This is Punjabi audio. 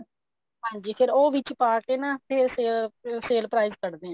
ਹਾਂਜੀ ਫ਼ੇਰ ਉਹ ਵਿੱਚ ਪਾ ਕੇ ਨਾ ਫ਼ੇਰ ਅਮ sale price ਕੱਡਦੇ ਆ